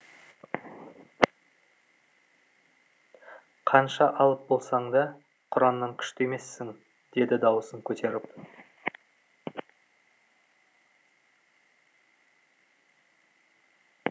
қанша алып болсаң да құраннан күшті емессің деді дауысын көтеріп